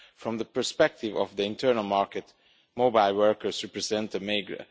From the perspective of the internal market, mobile workers represent a meagre